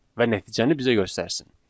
və nəticəni bizə göstərsin.